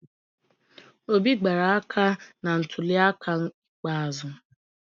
Obi gbara aka na ntuliaka ikpeazụ.